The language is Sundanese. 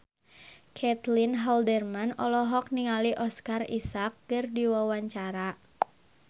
Caitlin Halderman olohok ningali Oscar Isaac keur diwawancara